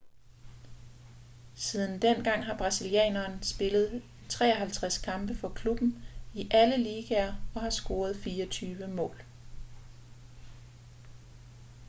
siden dengang har brasilianeren spillet 53 kampe for klubben i alle ligaer og har scoret 24 mål